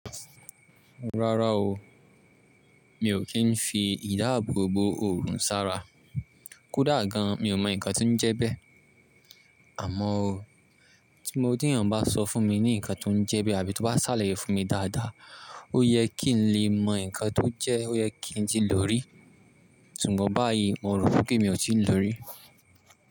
Rárá o, mi ò kí n fi ìdáàbò bo òrùn sára. Kódà gan, mi ò mọ nǹkan tí ń jẹ bẹ́ẹ̀. Àmọ́ o, tí mo dí ènìyàn bá sọ fún mi ní nǹkan tí ó ń jẹ́ bẹ́ẹ̀ àbí tó bá sàlàyé fún mi dáadáa, ó yẹ kí n lè mọ nǹkan tó jẹ́, ó yẹ kí n jí lórí. Sùgbọ́n báyìí, n ò rò fún kí n ò tí ì lórí.